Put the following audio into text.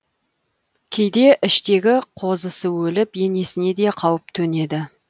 кейде іштегі қозысы өліп енесіне де қауіп төнеді